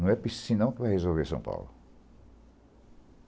Não é Piscinão que vai resolver São Paulo.